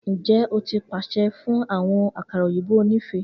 Njẹ o ti paṣẹ fun awọn akara oyinbo onife?